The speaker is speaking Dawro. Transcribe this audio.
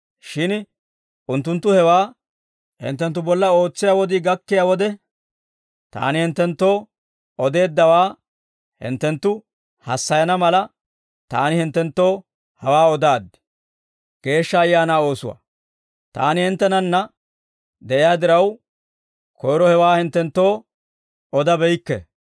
Shin unttunttu hewaa hinttenttu bolla ootsiyaa wodii gakkiyaa wode, Taani hinttenttoo odeeddawaa hinttenttu hassayana mala, Taani hinttenttoo hawaa odaaddi. Geeshsha Ayaanaa Oosuwaa «Taani hinttenanna de'iyaa diraw, koyro hewaa hinttenttoo odabeykke.